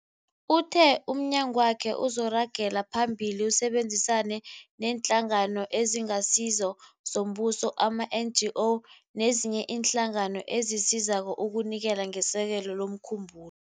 Uthe umnyagwakhe uzoragela phambili usebenzisane neeNhlangano eziNgasizo zoMbuso, ama-NGO, nezinye iinhlangano ezisizako ukunikela ngesekelo lomkhumbulo.